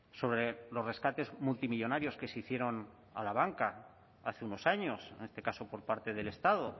sobre los rescates multimillónarios que se hicieron a la banca hace unos años en este caso por parte del estado